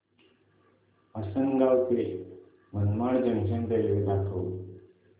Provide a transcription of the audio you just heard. आसंनगाव ते Manmad junction railway दाखव